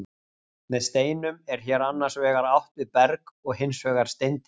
með steinum er hér annars vegar átt við berg og hins vegar steindir